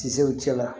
Tiso cɛla